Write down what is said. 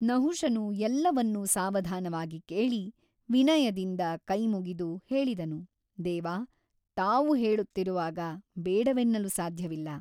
ನಹುಷನು ಎಲ್ಲವನ್ನೂ ಸಾವಧಾನವಾಗಿ ಕೇಳಿ ವಿನಯದಿಂದ ಕೈ ಮುಗಿದು ಹೇಳಿದನು ದೇವ ತಾವು ಹೇಳುತ್ತಿರುವಾಗ ಬೇಡವೆನ್ನಲು ಸಾಧ್ಯವಿಲ್ಲ.